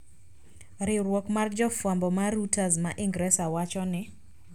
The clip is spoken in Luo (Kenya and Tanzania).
Riwruok mar jofwambo mar Reuters ma Ingresa wacho ni